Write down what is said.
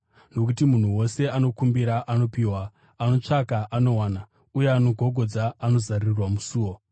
Nokuti munhu wose anokumbira anopiwa, anotsvaka anowana; uye anogogodza anozarurirwa musiwo.